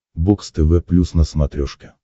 бокс тв плюс на смотрешке